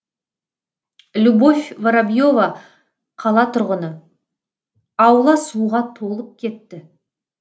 любовь воробьева қала тұрғыны аула суға толып кетті